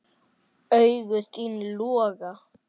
Augu þín loga.